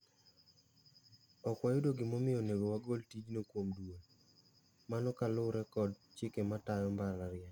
"Okwayudo gimomio onego wagol tijno kuom duol. Mano kalure kod chike matao Mbalariany.